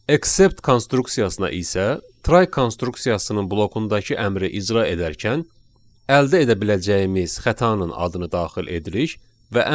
Except konstruksiyasına isə try konstruksiyasının blokundakı əmri icra edərkən əldə edə biləcəyimiz xətanın adını daxil edirik.